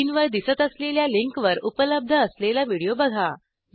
स्क्रीनवर दिसत असलेल्या लिंकवर उपलब्ध असलेला व्हिडिओ बघा